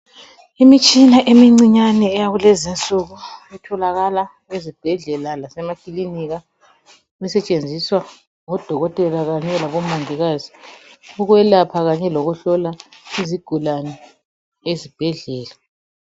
imitshina emincinane eyakulezi insuku etholakala esibhedlela lasemakilinika esetshenziswa ngabodokotela kanye labomongikazi ukwelapha lokuhlola izigulane ezibhedlela